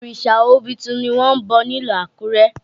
Òrìṣà obitun ni wọ́n ń bọ̀ ní ìlú Àkúrẹ́